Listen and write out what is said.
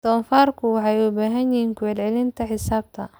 Doofaarku waxay u baahan yihiin ku celcelinta xisaabta.